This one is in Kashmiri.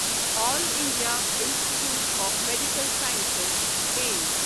all India institute of medical sciences Ms